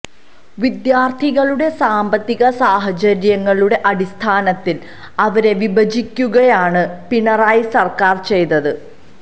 വിദ്യാര്ത്ഥികളുടെ സാമ്പത്തിക സാഹചര്യങ്ങളുടെ അടിസ്ഥാനത്തില് അവരെ വിഭജിക്കുകയാണ് പിണറായി സര്ക്കാര് ചെയ്തത്